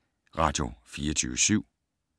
Radio24syv